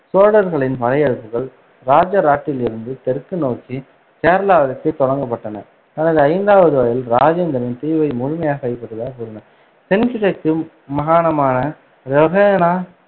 சோழர்களின் படையெடுப்புகள் ராஜராட்டிலிருந்து தெற்கு நோக்கி கேரளாவிற்குத் தொடங்கப்பட்டன. தனது ஐந்தாவது வயதில், ராஜேந்திரன் தீவை முழுமையாகக் கைப்பற்றியதாகக் கூறினார். தென்கிழக்கு மகாணமான ரோஹண